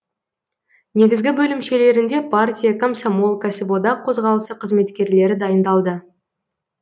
негізгі бөлімшелерінде партия комсомол кәсіподақ қозғалысы қызметкерлері дайындалды